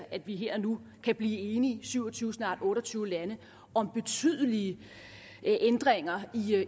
at vi her og nu kan blive enige syv og tyve snart otte og tyve lande om betydelige ændringer